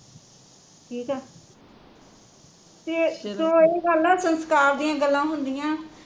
ਠੀਕ ਆ ਤੇ ਉਹ ਗੱਲ ਆ ਸੰਸਕਾਰ ਦੀਆ ਗੱਲਆ ਹੁੰਦੀਆ